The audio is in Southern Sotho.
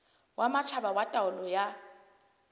wa matjhaba wa taolo ya